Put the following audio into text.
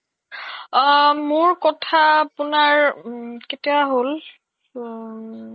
সেইয়াই আৰু কথা পাতা হৈছে নে নাই তুমাৰ